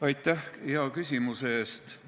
Aitäh hea küsimuse eest!